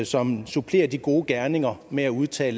som supplerer de gode gerninger med at udtage